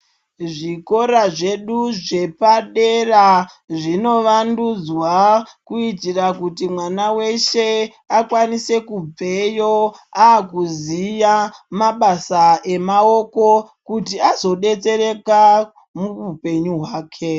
Zvikora zvedu zvepadera zvinovandunzwa, kuitira kuti mwana weshe akwanise kubveyo akuziya mabasa emaoko ,kuti azodetsereka muupenyu hwake.